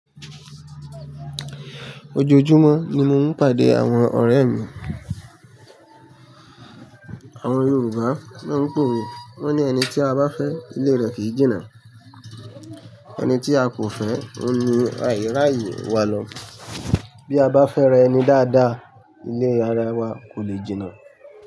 Ojoojúmọ́ ni mo ń pàdé àwọn ọ̀rẹ́ mi. Àwọn Yorùbá máa ń pòwe. Wọ́n ní ẹni tí a bá fẹ́, ilé rẹ kìí jìnnà. Ẹni tí a kò fẹ́, ó ní àiraye wá lọ. Bí a bá fẹ́ra ẹni dáadáa, ilé ara wa kò lè jìnnà.